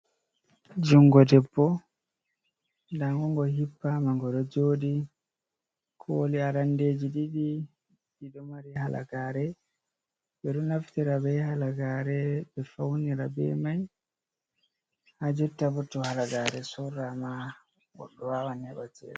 Jungo debbo ndangu ngo hippama ngo ɗo joɗi, koli arandeji ɗiɗi ɗi ɗo mari halagare, ɓe ɗo naftira be halagare be faunira be mai, ha jotta bo to halagare sorrama goɗɗo wawan heba cede.